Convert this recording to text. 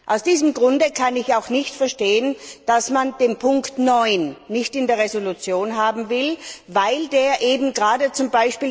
Aus diesem Grunde kann ich auch nicht verstehen, dass man die Ziffer 9 nicht in der Entschließung haben will, weil diese eben gerade z.